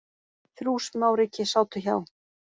Þrjú smáríki sátu hjá